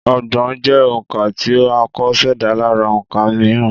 Ọgbọ̀n jẹ́ òǹkà tí a kò ṣẹ̀dá lára òǹkà mìíràn